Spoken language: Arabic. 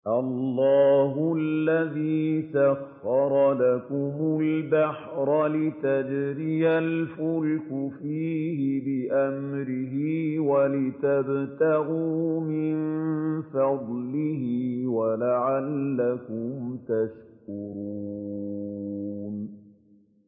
۞ اللَّهُ الَّذِي سَخَّرَ لَكُمُ الْبَحْرَ لِتَجْرِيَ الْفُلْكُ فِيهِ بِأَمْرِهِ وَلِتَبْتَغُوا مِن فَضْلِهِ وَلَعَلَّكُمْ تَشْكُرُونَ